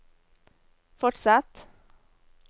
fortsett